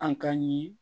An ka ɲi